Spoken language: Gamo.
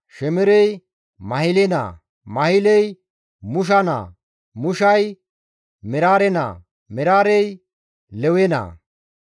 Shemerey Mahile naa; Mahiley Mushe naa; Mushey Meraare naa; Meraarey Lewe naa.